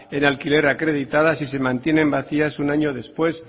en alquiler acreditada si se mantienen vacías un año después